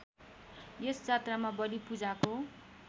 यस जात्रामा बलिपूजाको